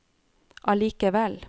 allikevel